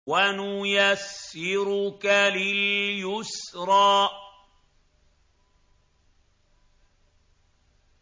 وَنُيَسِّرُكَ لِلْيُسْرَىٰ